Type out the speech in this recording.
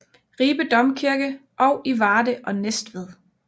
Ribe Domkirke og i Varde og Næstved